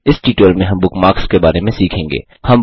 इस ट्यूटोरियल में हम बुकमार्क्स के बारे में सीखेंगे